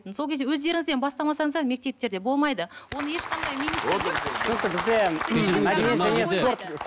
сол кезде өздеріңізден бастамасаңыздар мектептерде болмайды оны ешқандай